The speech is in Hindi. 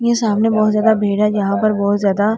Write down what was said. के सामने बहुत ज्यादा भीड़ है जहां पर बहुत ज्यादा --